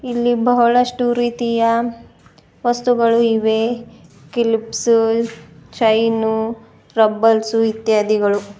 ಇಲ್ಲಿ ಬಹಳಷ್ಟು ರೀತಿಯ ವಸ್ತುಗಳು ಇವೆ ಕಿಲ್ಪಸು ಚೈನು ರಬ್ಬಲ್ಸು ಇತ್ಯಾದಿಗಳು--